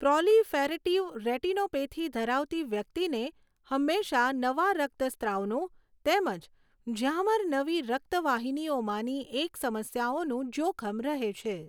Proliferative retinopathy ધરાવતી વ્યક્તિને હંમેશાંં નવા રક્તસ્રાવનું તેમજ ઝામર નવી રક્તવાહિનીઓમાંની એક સમસ્યાનું જોખમ રહે છે.